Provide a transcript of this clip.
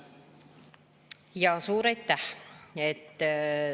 Suur aitäh!